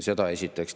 Seda esiteks.